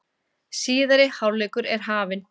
Síðari hálfleikur er hafinn